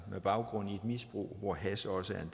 på baggrund af et misbrug hvor hash også